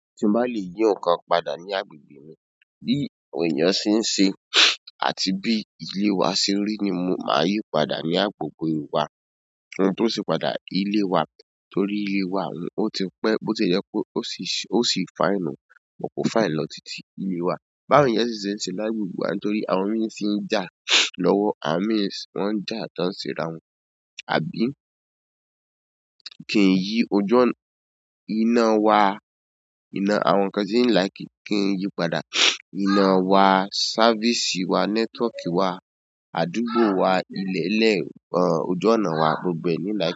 Tí má lè yín ǹkan padà ní agbègbè mi, bí èèyàn ṣe ń ṣe àti bí ilé wa ṣe rí ni mo máa yí padà ní agbègbè wa. Ohun tó ṣe padà ilé wa torí ilé wa, òun ó ti pẹ́ bó ti e jẹ pe ó sì fine òun, kò fine lọ títí ilé wa. Báwo èèyàn ṣe ń ṣe lágbègbè wa nítorí àwọn míì ṣe ń jà lọ́wọ́ àwọn mi, wọ́n ń jà tán ṣe rawọn, àbí? Kì í yí ojú ọ̀nà, iná wa, iná àwọn nǹkan tí ń làìkí kì í yíi padà. Ìna wa, sáfìsì wa, nẹ́tọ́ọ̀kì wa, àdúgbò wa, ilẹ̀ẹ́lẹ̀, ọ̀nà ojú ọ̀nà wa gbogbo ẹ̀ ní làìkí.